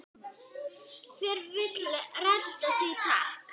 Hver vill redda því takk?